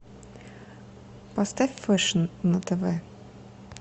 поставь фэшн на тв